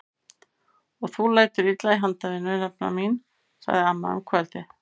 Og þú lætur illa í handavinnu nafna mín! sagði amma um kvöldið.